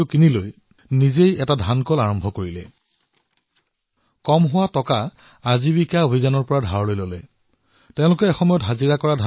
ধন কম হোৱাত তেওঁলোকে আজীৱিকা অভিযানৰ অধীনত ঋণ ললে আৰু এতিয়া চাওক সেই আদিবাসী মহিলাসকলে সেই ধানৰ মিল ক্ৰয় কৰিলে যত তেওঁলোকে পূৰ্বে কাম কৰিছিল